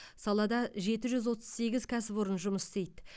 салада жеті жүз отыз сегіз кәсіпорын жұмыс істейді